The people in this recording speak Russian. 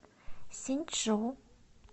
синьчжу